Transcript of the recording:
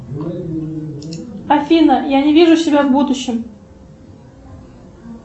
афина я не вижу себя в будущем